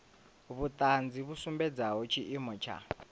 vhuṱanzi vhu sumbedzaho tshiimo tsha